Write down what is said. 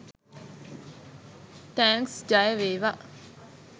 thanks ජයවේවා